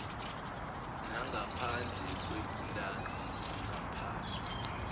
nangaphandle kwepulazi kungaphathwa